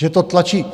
Že to tlačíte...